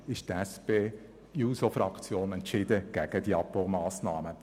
Deshalb ist die SP-JUSO-PSA-Fraktion entschieden gegen diese Abbaumassnahmen.